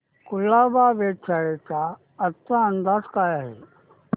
कुलाबा वेधशाळेचा आजचा अंदाज काय आहे